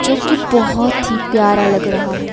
जोकि बहोत ही प्यारा लग रहा है।